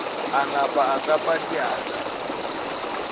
a napa a hlapa diatla